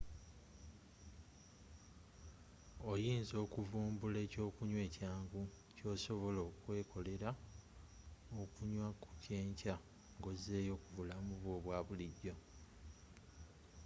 oyinza okuvumbula ekyokunywa ekyangu kyosobola okwekolela okunya ku kyenkya nga ozzeeyo ku bulamu bwo obwa bulijjo